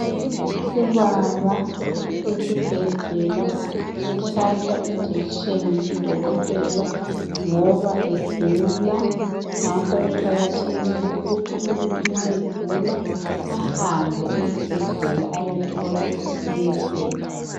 Ubaba osesibhedlela uhlatshwa injection ngudokotela ngoba egula ngakho kuqakathekile ukuthi umuntu nxa egula ahambe esibhedlela ayethola usizo.